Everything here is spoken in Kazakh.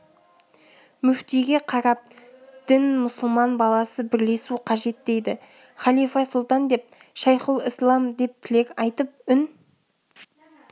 мүфтиге қарап дін мұсылман баласы бірлесу қажет дейді халифа сұлтан деп шайхұлісләм деп тілек айтып үн